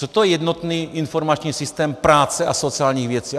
Co to je jednotný informační systém práce a sociálních věcí?